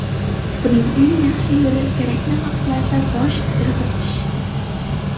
Buning eng yaxshi yo‘li kerakli vaqtlarda bosh irg‘itish.